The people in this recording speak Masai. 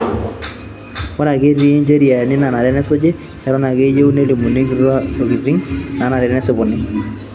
Ore ake etii incheriani nanare nesuji, eton ake eyiu nelimu ilkituak intokitin nanare nesipuni